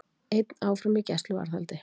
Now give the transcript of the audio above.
Einn áfram í gæsluvarðhaldi